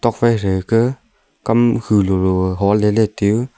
tokphai thegaka kam khu lolo holeley tiu.